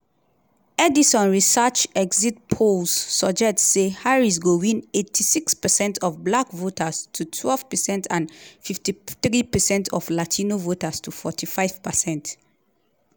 edison research exit polls suggest say harris go win 86 percent of black voters to 12 percent and 53 percent of latino voters to 45%.